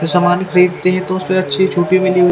जो सामन खरीदते है तो उसपे अच्छी छुटे मिली हुई--